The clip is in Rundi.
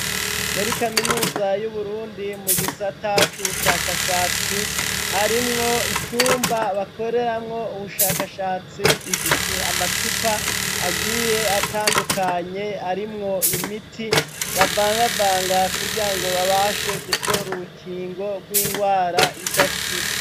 Muri kaminuza y'uBurundi mu gisata c'ubushakashatsi harimwo icumba bakoreramwo ubushakashatsi gifise amacupa agiye atandukanye arimwo imiti bavangavanga kugira ngo babashe gutora urukingo rw'ingwara idakira.